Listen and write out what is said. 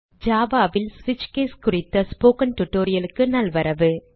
Java ல் ஸ்விட்ச் case குறித்த ஸ்போக்கன் tutorial க்கு நல்வரவு